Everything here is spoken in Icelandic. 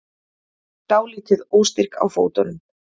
Dálítið óstyrk á fótunum.